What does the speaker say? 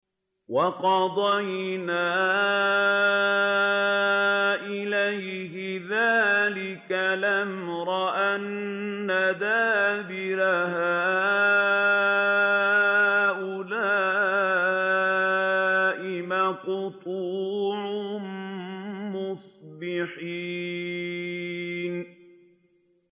وَقَضَيْنَا إِلَيْهِ ذَٰلِكَ الْأَمْرَ أَنَّ دَابِرَ هَٰؤُلَاءِ مَقْطُوعٌ مُّصْبِحِينَ